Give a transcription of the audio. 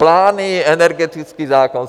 Plány, energetický zákon.